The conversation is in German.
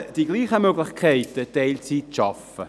Haben Männer dieselben Möglichkeiten, Teilzeit zu arbeiten?